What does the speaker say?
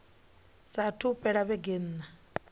saathu u fhela vhege nṋa